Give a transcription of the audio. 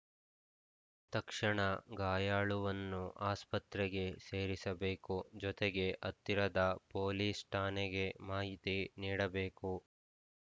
ತಕ್ಷಣ ಗಾಯಾಳುವನ್ನು ಆಸ್ಪತ್ರೆಗೆ ಸೇರಿಸಬೇಕು ಜೊತೆಗೆ ಹತ್ತಿರದ ಪೊಲೀಸ್‌ ಠಾಣೆಗೆ ಮಾಹಿತಿ ನೀಡಬೇಕು